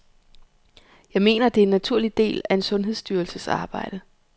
Jeg mener, at det er en naturlig del af en sundhedsstyrelses arbejde.